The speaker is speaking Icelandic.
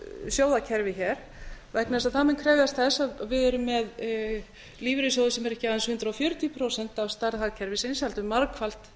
sjóðakerfi hér vegna þess að það mun krefjast þess að við erum með lífeyrisjsóð sem er ekki aðeins hundrað fjörutíu prósent af stærð hagkerfisins heldur margfalt